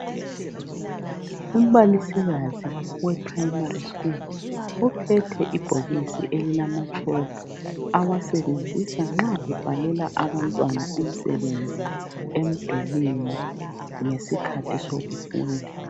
Umbalisikazi we primary school uphethe ibhokisi elilamatshoko awasebenzisa nxa ebhalela abantwana umsebenzi emidulini ngesikhathi sokufunda.